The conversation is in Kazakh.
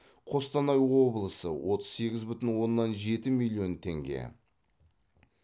қостанай облысы отыз сегіз бүтін оннан жеті миллион теңге